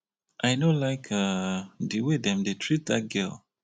i no like um the way dem dey treat dat girl